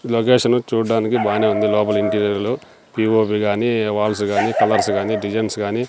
Location చూడ్డానికి బానే ఉంది లోపల ఇంటీరియర్లు పి_ఓ_పి గానీ వాల్స్ గానీ కలర్స్ గానీ డిజైన్స్ గానీ.